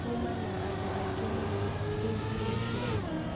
Kuma na andũ aingĩ mũnorĩu irio ciathira